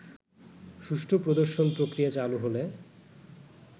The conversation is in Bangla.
সুষ্ঠু প্রদর্শন-প্রক্রিয়া চালু হলে